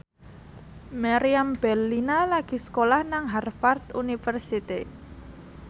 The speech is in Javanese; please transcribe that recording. Meriam Bellina lagi sekolah nang Harvard university